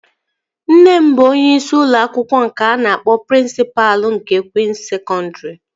Nne m bụ onyeisi ụlọ akwụkwọ nke a na-akpọ prịnsịpa nke Kwịns Sekọndri